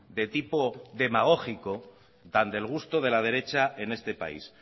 de tipo demagógico tan del gusto de la derecha en este país